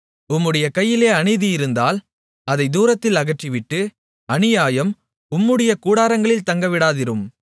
உம்முடைய கையிலே அநீதி இருந்தால் அதைத் தூரத்தில் அகற்றிவிட்டு அநியாயம் உம்முடைய கூடாரங்களில் தங்கவிடாதிரும்